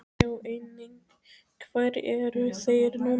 Sjá einnig: Hvar eru þeir núna?